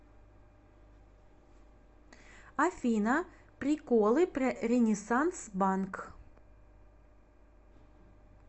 афина приколы про ренессанс банк